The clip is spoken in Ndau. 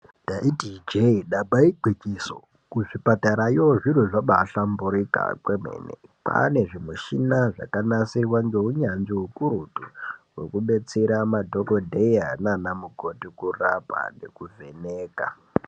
Ndaiti ijee damba igwinyiso, kuzvipatarayo zviro zvabaahlamburika kwemene. Kwaane zvimichini zvakanasirwa ngeunyanzvi hukurutu hwekubetsere madhokodheya naana mukoti kurapa nekuvheneka.